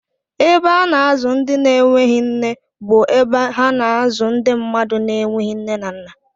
Ebe a na-azụ ndị na-enweghị nne bụ ebe ha na-azụ ndị mmadụ na-enweghị nne na nna.